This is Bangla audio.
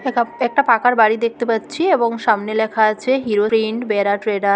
একটা পাকার বাড়ি দেখতে পাচ্ছি এবং সামনে লেখা আছে হিরো প্রিন্ট বেড়া ট্রেডা --